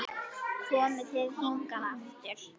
Komið þið hingað aftur!